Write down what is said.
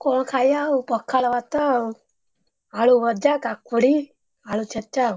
କଣ ଖାଇବା ଆଉ ପଖାଳ ଭାତ, ଆଳୁ ଭଜା, କାକୁଡି, ଆଳୁ ଛେଚା ଆଉ।